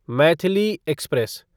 Maithili express